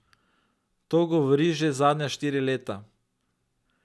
To govori že zadnja štiri leta.